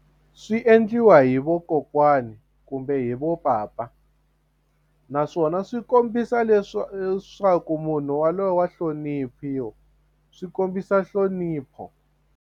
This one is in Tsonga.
Swi endliwa hi vakokwani kumbe vo papa naswona swi kombisa leswaku munhu waloye wa hloniphiwa swi kombisa nhlonipho.